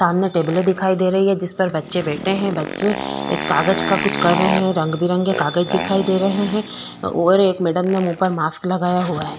सामने टेबले दिखाई दे रही है जिस पर बच्चे बैठे हैं बच्चे एक कागज का कुछ कर रहै हैं रंग-बिरंगे कागज दिखाई दे रहै हैं और एक मैडम ने मुंह पर मास्क लगाया हुआ है।